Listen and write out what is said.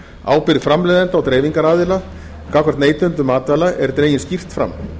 ábyrgð framleiðenda og dreifingaraðila gagnvart neytendum matvæla er dregin skýrt fram